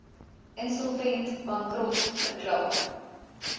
insolvent bankrot verklaar